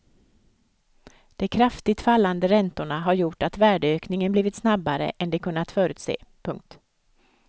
De kraftigt fallande räntorna har gjort att värdeökningen blivit snabbare än de kunnat förutse. punkt